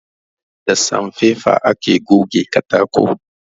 Da sanfaifa ake goge katako